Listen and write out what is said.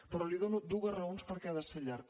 però li dono dues raons perquè ha de ser llarg